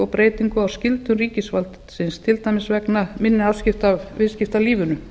breytingum á skyldum ríkisvaldsins til dæmis vegna minni afskipta af viðskiptalífinu